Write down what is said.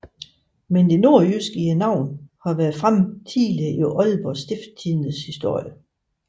Men det nordjyske i navnet har været fremme tidligere i Aalborg Stiftstidendes historie